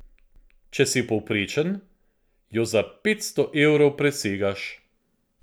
Če si povprečen, jo za petsto evrov presegaš.